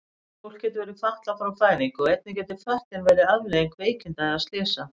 Fólk getur verið fatlað frá fæðingu og einnig getur fötlun verið afleiðing veikinda eða slysa.